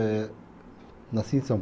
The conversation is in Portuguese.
Eh, nasci em